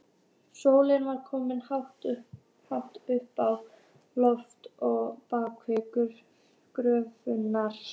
Grimm er ástin, geithafur gerir hún fríðan.